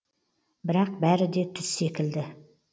бірақ бәрі де түс секілді